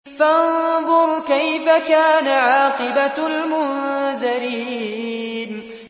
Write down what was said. فَانظُرْ كَيْفَ كَانَ عَاقِبَةُ الْمُنذَرِينَ